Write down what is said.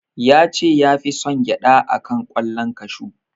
Ya ce ya fi son gyaɗa a kan ƙwallon kashu.